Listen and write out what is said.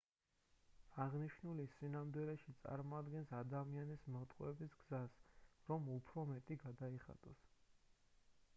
აღნიშნული სინამდვილეში წარმოადგენს ადამიანის მოტყუების გზას რომ უფრო მეტი გადაიხადოს